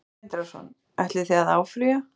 Sindri Sindrason: Ætlið þið að áfrýja?